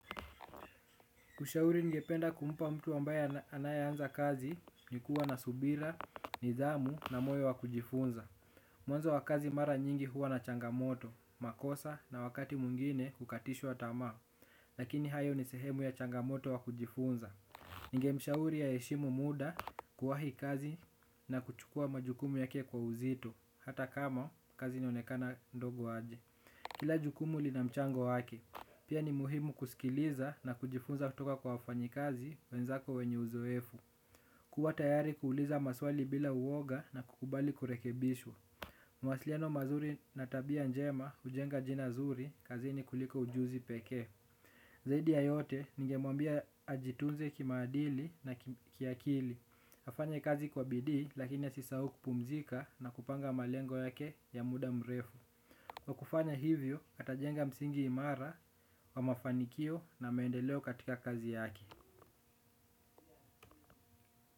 Ushauri ngependa kumpa mtu ambaye anayeanza kazi ni kuwa na subira, nidhamu na moyo wa kujifunza. Mwanzo wa kazi mara nyingi huwa na changamoto, makosa na wakati mwigine kukatishwa tamaa. Lakini hayo ni sehemu ya changamoto wa kujifunza. Ningemshauri aheshimu muda kuwahi kazi na kuchukua majukumu yake kwa uzito, hata kama kazi inaonekana ndogo aje. Kila jukumu lina mchango wake, pia ni muhimu kusikiliza na kujifunza kutoka kwa wafanyi kazi wenzako wenye uzoefu kuwa tayari kuuliza maswali bila uwoga na kukubali kurekebishwa mawasiliano mazuri na tabia njema hujenga jina zuri kazini kuliko ujuzi peke zaidi ya yote ningemwambia ajitunze kimaadili na kiakili afanye kazi kwa bidi lakini asisahau kupumzika na kupanga malengo yake ya muda mrefu. Kwa kufanya hivyo, atajenga msingi imara wa mafanikio na maendeleo katika kazi yake.